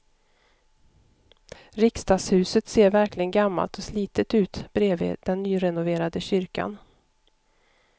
Riksdagshuset ser verkligen gammalt och slitet ut bredvid den nyrenoverade kyrkan.